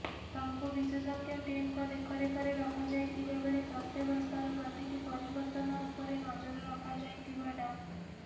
ତାଙ୍କୁ ବିଶେଷଜ୍ଞ ଟିମଙ୍କ ଦେଖରେଖରେ ରଖାଯାଇଥିବା ବେଳେ ସ୍ୱାସ୍ଥ୍ୟାବସ୍ଥାର ପ୍ରତିଟି ପରିବର୍ତ୍ତନ ଉପରେ ନଜର ରଖା ଯାଇଥିବା ଡା